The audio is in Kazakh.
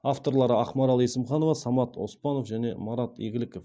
авторлары ақмарал есімханова самат оспанов және марат игіліков